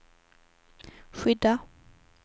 skydda